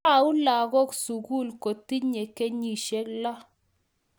Tau lagok sukul kotinye kenyishek loo